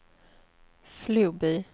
Floby